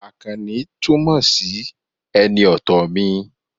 Àkànní túmọ̀ sí ẹni ọ̀tọ̀ mi